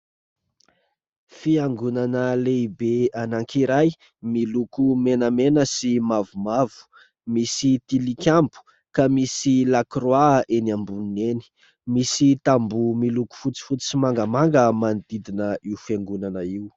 Fiangonana lehibe anankiray miloko menamena sy mavomavo, misy tilikambo ka misy lakroa eny amboniny eny, misy tamboho miloko fotsifotsy sy mangamanga manodidina io fiangonana io.